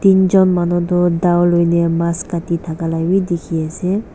eenjon manu toh dow loine mass kati thaka la bi dikhiase.